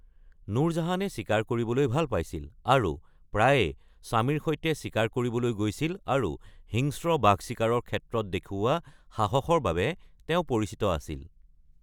নুৰ জাহানে চিকাৰ কৰিবলৈ ভাল পাইছিল আৰু প্ৰায়ে স্বামীৰ সৈতে চিকাৰ কৰিবলৈ গৈছিল আৰু হিংস্ৰ বাঘ চিকাৰৰ সাহসৰ বাবে তেওঁ পৰিচিত আছিল।